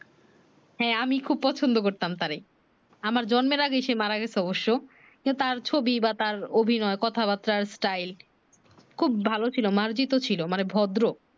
হ্যাঁ আমি খুব পছন্দ করতাম তারে আমার জন্মের আগে সে মারা গেছে অবশ্য কিন্তু তার ছবি বা তার অভিনয় কথা বার্তা style খুব ভালো ছিলো মার্জিতও ছিলো মানে ভদ্র